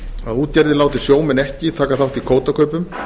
að útgerðir láti sjómenn ekki taka þátt í kvótakaupum